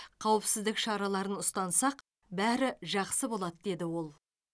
қауіпсіздік шараларын ұстансақ бәрі жақсы болады деді ол